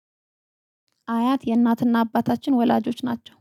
አያት የናትና አባታችን ወላጆች ናቸው